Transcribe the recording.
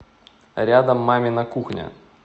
рядом мамина кухня